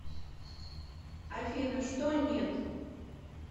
афина что нет